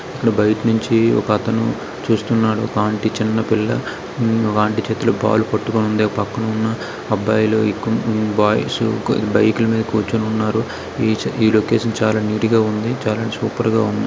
బైట నుంచి ఒకతను చూస్తున్నాడు ఒక ఆంటీ చిన్నపిల్ల ఆ ఆంటీ చేతిలో పాలు పట్టుకొని ఉండే పక్కనున్న అబ్బాయి లు ఇక్ బాయ్స్ బైక్ లా మీద కూర్చోని ఉన్నారు ఈ లొకేషన్ చాలా నీటిగా ఉంది. చాలా సూపర్ గా ఉంది.